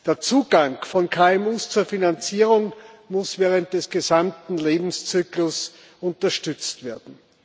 Der Zugang von KMU zur Finanzierung muss während des gesamten Lebenszyklus unterstützt werden.